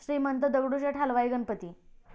Shrimant Dagdusheth Halwai Ganpati